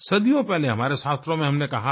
सदियों पहले हमारे शास्त्रों में हमनें कहा है